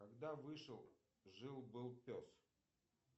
когда вышел жил был пес